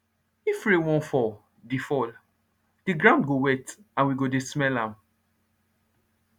if rain wan fall the fall the ground go wet and we go dey smell am